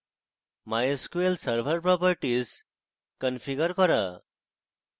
MySQL server properties configure করা